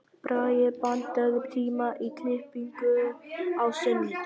Bragi, pantaðu tíma í klippingu á sunnudaginn.